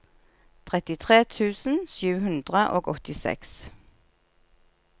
trettitre tusen sju hundre og åttiseks